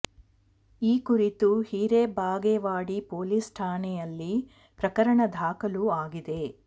ಈ ಕುರಿತು ಹಿರೆಬಾಗೇವಾಡಿ ಪೊಲೀಸ್ ಠಾಣೆಯಲ್ಲಿ ಪ್ರಕರಣ ದಾಖಲು ಆಗಿದೆ